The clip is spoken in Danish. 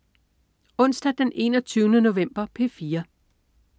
Onsdag den 21. november - P4: